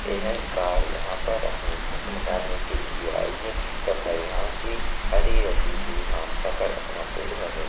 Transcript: यह एक गाय है यहाँ पर अपनी भूख मिटने आई है तथा यहाँ की हरी हरी घास खा कर अपना पेट भर रही हैं।